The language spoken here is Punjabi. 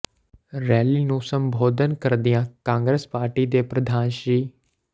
ਰੈਲੀ ਨੂੰ ਸੰਬੋਧਨ ਕਰਦਿਆ ਕਾਂਗਰਸ ਪਾਰਟੀ ਦੇ ਪ੍ਰਧਾਨ ਸ੍ਰ